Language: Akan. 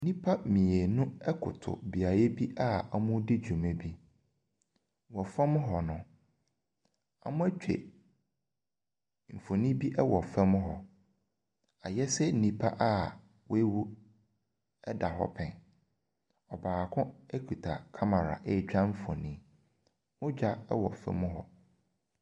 Nnipa mmienu koto beaeɛ bi awɔredi dwuma bi. Wɔ fam hɔ no, wɔatwa mfoni bi wɔ fam hɔ. Ayɛ sɛ nnipa a wawun da hɔ pɛɛ. Ɔbaako kita kamara retwa mfoni. Mmogya wɔ fam hɔ.